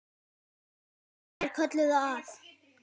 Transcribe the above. Annir kölluðu að.